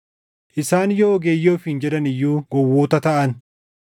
Isaan yoo ogeeyyii ofiin jedhan iyyuu gowwoota taʼan;